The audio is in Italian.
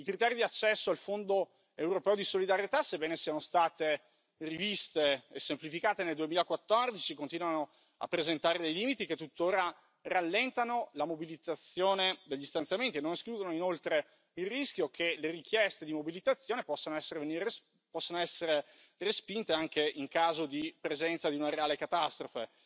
I criteri di accesso al Fondo europeo di solidarietà, sebbene siano stati rivisti e semplificati nel 2014, continuano a presentare dei limiti che tuttora rallentano la mobilizzazione degli stanziamenti e non escludono inoltre il rischio che le richieste di mobilitazione possono essere respinte anche in caso di presenza di una reale catastrofe.